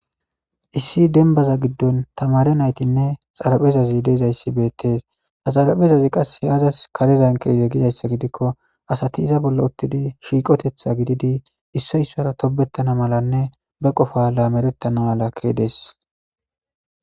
Issi denbaza giddon tamare naytinne xaraphezazi deezayssi beettes haxalapezazi qas he azas karezan keze gidayssa gidikko asati iza bolla uttidi shiiqotetha gididi issoy issara tobettana malanne ba qofa laamerettana mala kedees.